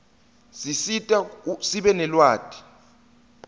sisita sibe nelwati